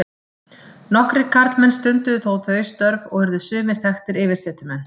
Nokkrir karlmenn stunduðu þó þau störf og urðu sumir þekktir yfirsetumenn.